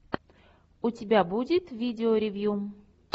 у тебя будет видеоревью